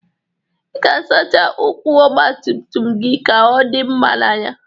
Ị ga-asacha ụkwụ ọgbatumtum gị ka ọ dị mma n'anya